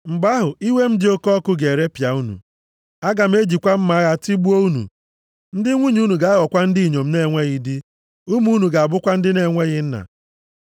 Mgbe ahụ, iwe m dị oke ọkụ ga-eripịa unu. Aga m ejikwa mma agha tigbuo unu. Ndị nwunye unu ga-aghọkwa ndị inyom na-enweghị di, ụmụ unu ga-abụkwa ndị na-enweghị nna.